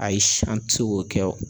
Ayi si an ti se k'o kɛ o